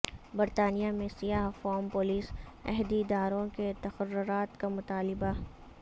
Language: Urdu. برطانیہ میں سیاہ فام پولیس عہدیداروں کے تقررات کا مطالبہ